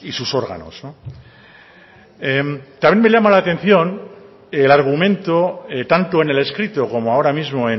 sus órganos también me llama la atención el argumento tanto en el escrito como ahora mismo